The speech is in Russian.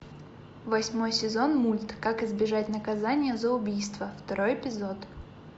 восьмой сезон мульт как избежать наказания за убийство второй эпизод